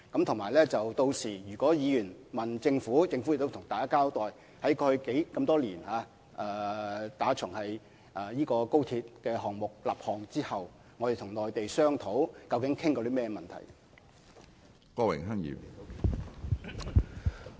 此外，屆時如果議員詢問政府相關詳情，政府會向大家交代過去多年來，自從高鐵項目立項後，我們與內地商討時究竟談過甚麼問題。